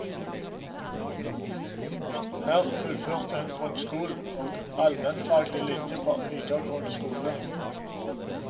Her fullførte hun grunnskolen og allmennfaglig linje på videregående skole.